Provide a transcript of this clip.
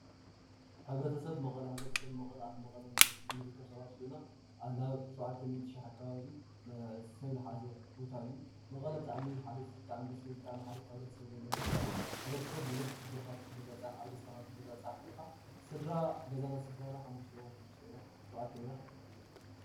ሕብረተሰብ መቐለ ሕብረተሰብ መቐለ ኣብ መቐለ ንርከብ ሰባት ኮይና ናብ ሸውዓተ ሚኢቲ ሽሕ ኣከባቢ ሰብ ዝሓዞ ቦታ እዩ። መቐለ ብጣዕሚ እዩ ሓሪፍ ብጣዕሚ ደስ ዝብል ሕብረተሰብ ዘለዎ ቦታ እዩ። ሕብረተሰብ ብዙሕ ችግር ትበፃፃሕ ኣብ ደስታካ ስድራ ገዛና ትበፃፃሕ ሓሙሽተ ኢና ሽዱሽተ ኢና ሸውዓተ ኢና፡፡